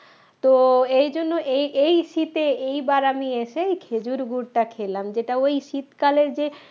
তো এই জন্য এই এই শীতে এইবার আমি এসে খেজুর গুড়টা খেলাম যেটা ওই শীতকালের যে